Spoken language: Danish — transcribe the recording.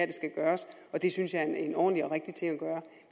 det skal gøres og det synes jeg er en ordentlig og rigtig ting at gøre